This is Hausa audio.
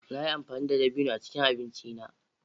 Na yi amfani da dabino a cikin abinci na.